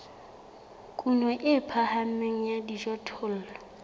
kuno e phahameng ya dijothollo